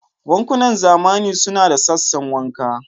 Bankunan zamani suna da sassan wanka.